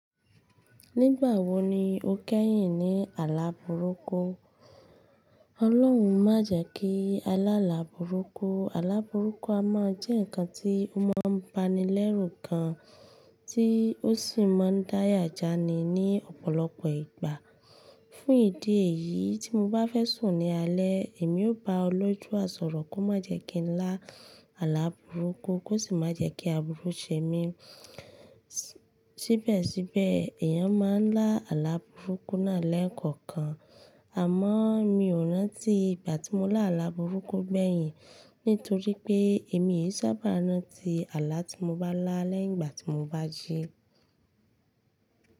Nígbà wo ni o kẹ́yìn ní àlà burúkú? Ọlọ́run má jẹ ki a lá àlà burúkú. Àlà burúkú a mọ jẹ́ ǹkan tí ó mọ́ bá ni lẹ́rù gan, tí ó sì má ń dáyà já ni ní ọ̀pọ̀lọpọ̀ ìgbà. Fún ìdí èyí, tí mo bá fẹ́ sùn ní alẹ́, èmi ó bá olodua sọ̀rọ̀ kó má jẹ ki n lá àlà burúkú kó sì má jẹ́ kí aburú ṣe mí. Síbẹ̀síbẹ̀, èyàn má ń lá àlà burúkú náà lẹ́ẹ̀kọ̀kan. Àmọ mi o rántí ìgbà tí mo lá àlà burúkú gbẹ̀yìn nítorí pé èmi e i sábà rántí àlà tí mo bá lá lẹ́gbà tí mo bá jí.